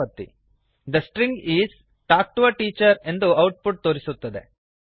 the string is the string is talk to A teacher ಎಂದು output ತೋರಿಸುತ್ತದೆ